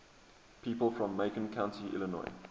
people from macon county illinois